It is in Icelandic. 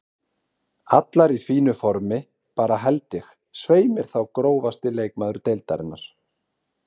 Allar í fínu formi bara held ég, svei mér þá Grófasti leikmaður deildarinnar?